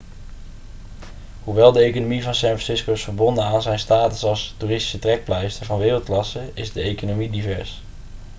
hoewel de economie van san francisco is verbonden aan zijn status als toeristische trekpleister van wereldklasse is de economie divers